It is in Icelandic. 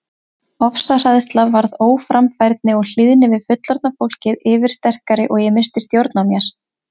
Ofsahræðsla varð óframfærni og hlýðni við fullorðna fólkið yfirsterkari og ég missti stjórn á mér.